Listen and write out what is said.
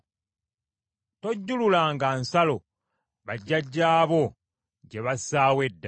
Tojjululanga nsalo bajjajjaabo gye bassaawo edda.